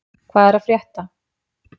Hvað er að frétta?